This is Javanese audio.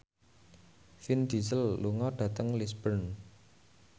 Vin Diesel lunga dhateng Lisburn